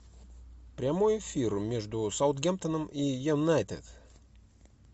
прямой эфир между саутгемптоном и юнайтед